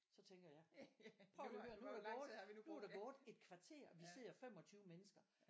Så tænker jeg prøv at høre nu er der gået nu er der gået et kvarter og vi sidder 25 mennesker